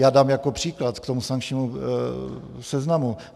Já dám jako příklad k tomu sankčnímu seznamu.